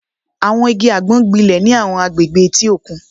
Àwọn igi àgbọn gbilẹ̀ ní àwọn agbègbè etí òkun